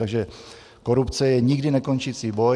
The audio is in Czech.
Takže korupce je nikdy nekončící boj.